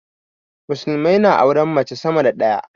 musulmai na auren mace sama da daya